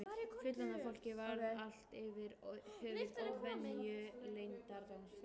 Fullorðna fólkið var allt yfir höfuð óvenju leyndardómsfullt.